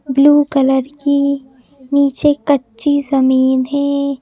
Blue colour की नीचे कच्ची जमीन है।